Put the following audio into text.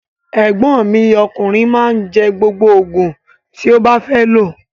Egbon mi okunrin ma n je gbogbo ti o ba fe lo.